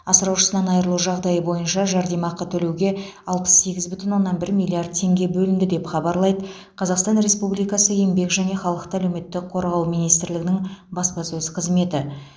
асыраушысынан айырылу жағдайы бойынша жәрдемақы төлеуге алпыс сегіз бүтін оннан бір миллиард теңге бөлінді деп хабарлайды қазақстан республикасы еңбек және халықты әлеуметтік қорғау министрлігінің баспасөз қызметі